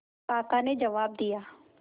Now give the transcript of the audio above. काका ने जवाब दिया